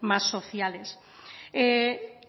más sociales